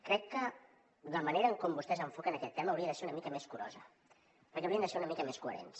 crec que la manera en com vostès enfoquen aquest tema hauria de ser una mica més curosa perquè haurien de ser una mica més coherents